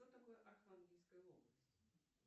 что такое архангельская область